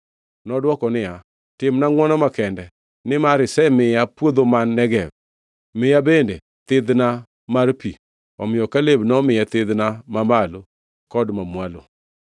Nodwoko niya, “Timna ngʼwono makende. Nimar isemiya puodho man Negev, miya bende thidhna mar pi.” Omiyo Kaleb nomiye thidhna ma malo kod mamwalo.